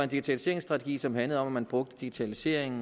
digitaliseringsstrategi som handler om at man bruger digitalisering